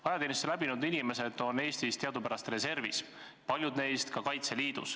Ajateenistuse läbi teinud inimesed on Eestis teadupärast reservis ja paljud neist kuuluvad Kaitseliitu.